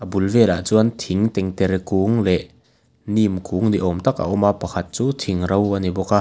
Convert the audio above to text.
pul velah chuan thing tengtere kung leh neem kung ni awm tak a awma pakhat chu thing ro a ni bawk a.